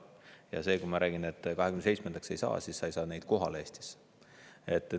Ja kui ma räägin, et 2027. aastaks ei saa, siis sa ei saa neid kohale Eestisse.